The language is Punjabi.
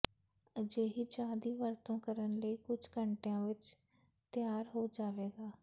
ਅਜਿਹੀ ਚਾਹ ਦੀ ਵਰਤੋਂ ਕਰਨ ਲਈ ਕੁਝ ਘੰਟਿਆਂ ਵਿੱਚ ਤਿਆਰ ਹੋ ਜਾਵੇਗਾ